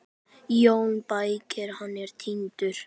JÓN BEYKIR: Hann er týndur!